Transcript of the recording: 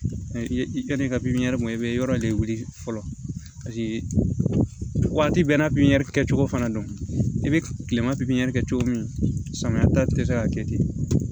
I ye i ka nin ka pipiniyɛri ma i bɛ yɔrɔ de wili fɔlɔ waati bɛɛ n'a pipiniyɛri kɛcogo fana don i bɛ kile ma pinpiniyɛri kɛ cogo min samiya ta tɛ se k'a kɛ ten